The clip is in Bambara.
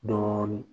Dɔɔnin